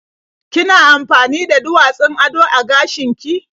Kina amfani da duwatsun ado a gashin ki?